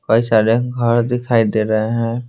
कई सारे घर दिखाई दे रहे हैं।